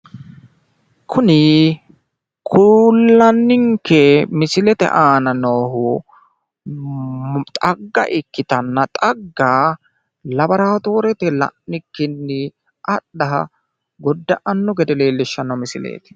Kuni kullanninke misilete aana noohu xagga ikkitanna xagga labaratoorete la'nikkinni adha godda'anno gede leellishshanno misileeti.